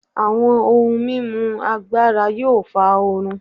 Awọn ohun mimu agbara yoo fa oorun